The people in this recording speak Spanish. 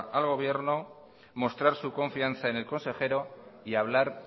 al gobierno mostrar su confianza en el consejero y hablar